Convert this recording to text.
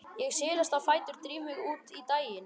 Ég silast á fætur, dríf mig út í daginn.